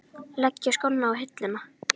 Leggja skóna á hilluna?